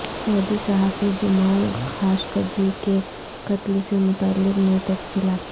سعودی صحافی Jamal Khashoggi کے قتل سے متعلق نئی تفصیلات